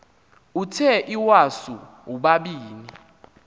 uthe iwasu ubabini